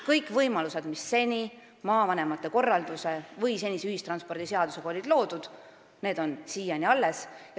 Kõik võimalused, mis on loodud maavanemate korralduse või senise ühistranspordiseadusega, on siiani alles.